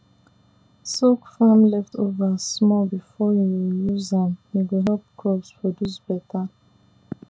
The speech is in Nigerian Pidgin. soak farm leftover small before you use am e go help crops produce better